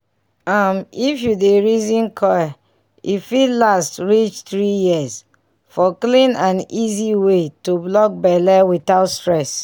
um if you dey reason coil e fit last reach 3yrs --for clean and easy way to block belle without stress.